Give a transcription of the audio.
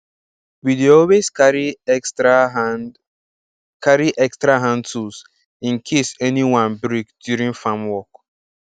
we dey always carry extra hand carry extra hand tools in case any one break during farm work